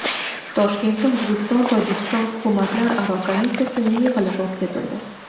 Toshkentda O‘zbekistonTojikiston hukumatlararo komissiyasining yig‘ilishi o‘tkazildi.